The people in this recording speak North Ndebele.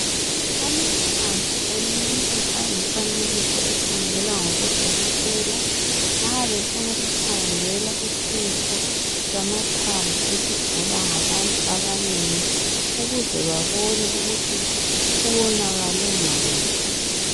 amathambo womuntu angumfanekiso ekhangelwa ngabodokotela nxabefuna ukukhangela uhluho lamathambo olugulwa ngabantu abanengi ukuze babone ukuthi kuwonakale ngaphi